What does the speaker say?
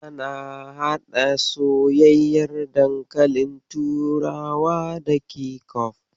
Ana haɗa soyyayyen dankalin turawa da kecof.